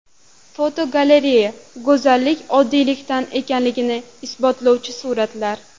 Fotogalereya: Go‘zallik oddiylikda ekanligini isbotlovchi suratlar.